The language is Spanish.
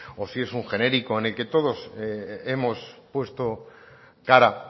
o si es un genérico en el que todos hemos puesto cara